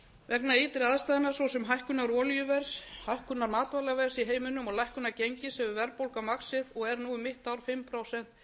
vegna ytri aðstæðna svo sem hækkunar olíuverðs hækkunar matvælaverðs í heiminum og lækkunar gengis hefur verðbólga vaxið og er nú um mitt ár fimm prósent